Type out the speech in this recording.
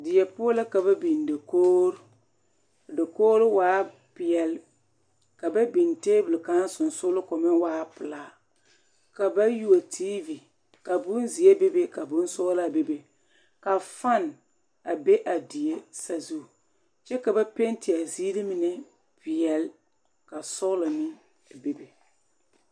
Die poɔ la ka ba biŋ dakogri a dakogri waa peɛle ka ba biŋ tabol kaŋ sensogre k,o meŋ waa pelaa ka ba yuo tiivi ka bonzeɛ bebe ka bonsɔglaa bebe ka fane a be a die sazu kyɛ ka ba penti a ziiri mine peɛle ka sɔglɔ meŋ a bebe.